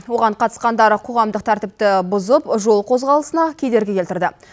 оған қатысқандар қоғамдық тәртіпті бұзып жол қозғалысына кедергі келтірді